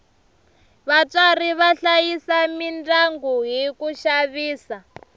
vatswari va hlayisa midyangu hi ku xavisa